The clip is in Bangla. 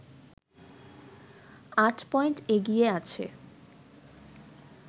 আট পয়েন্ট এগিয়ে আছে